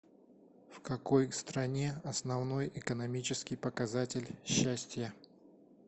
в какой стране основной экономический показатель счастье